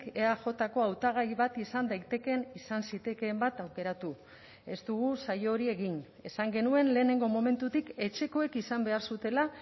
eajko hautagai bat izan daitekeen izan zitekeen bat aukeratu ez dugu saio hori egin esan genuen lehenengo momentutik etxekoek izan behar zutela